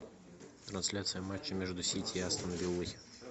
трансляция матча между сити и астон виллой